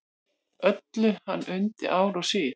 Öllu hann undi ár og síð.